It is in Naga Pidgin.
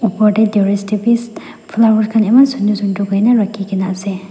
opor dae terrace dae bi ss flowers khan eman sundor kurikina rakina asae.